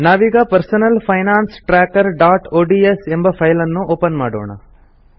ನಾವೀಗ personal finance trackerಒಡಿಎಸ್ ಎಂಬ ಫೈಲ್ ಅನ್ನು ಓಪನ್ ಮಾಡೋಣ